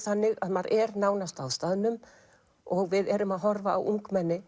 þannig að maður er nánast á staðnum og við erum að horfa á ungmenni